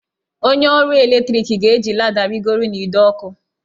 Onye ọrụ ọkụ eletrik ga-eji lada rịgoro n'ide ọkụ.